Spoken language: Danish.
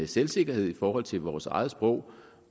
selvsikkerhed i forhold til vores eget sprog